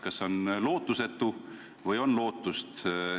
Kas see on lootusetu või on ikkagi lootust?